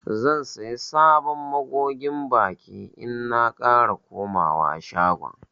Zan siya sabon magogin baki in na kara komawa shagon.